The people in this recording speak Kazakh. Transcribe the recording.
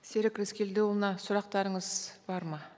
серік рыскелдіұлына сұрақтарыңыз бар ма